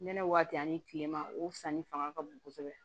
Nɛnɛ waati ani kilema o sanni fanga ka bon kosɛbɛ